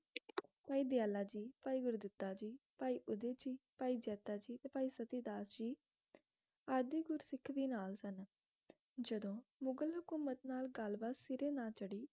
ਭਾਈ ਦਯਾਲਾ ਜੀ ਭਾਈ ਗੁਰੂ ਦੀਤਾ ਜੀ ਭਾਈ ਉਦਏ ਜੀ ਭਾਈ ਜੱਦਾਂ ਜੀ ਤੇ ਭਾਈ ਸਤੀ ਦਾਸ ਜੀ ਆਦਿ ਗੁਰੂ ਸਿੱਖ ਵੀ ਨਾਲ ਸਨ ਜਦੋ ਮੁਗ਼ਲ ਹਕੂਮਤ ਨਾਲ ਗੱਲ ਬਾਤ ਸਿਰੇ ਨਾ ਚੜ੍ਹੀ